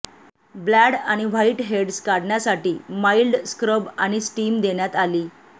ब्लॅड आणि whiteheads काढण्यासाठी mild scrub आणि स्टीम देण्यात आली